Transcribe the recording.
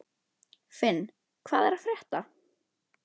Finn, hvað er að frétta?